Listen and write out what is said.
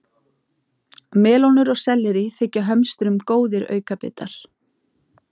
Melónur og sellerí þykja hömstrum góðir aukabitar.